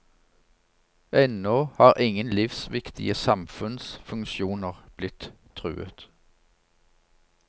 Ennå har ingen livsviktige samfunnsfunksjoner blitt truet.